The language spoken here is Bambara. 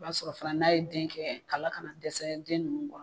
I b'a sɔrɔ fana n'a ye den kɛ kala kana dɛsɛ den ninnu